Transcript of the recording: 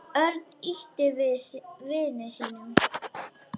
Örn ýtti við vini sínum.